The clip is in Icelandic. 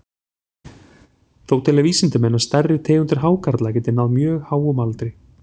Þó telja vísindamenn að stærri tegundir hákarla geti náð mjög háum aldri.